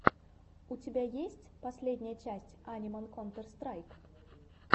у тебя есть последняя часть аниман контер страйк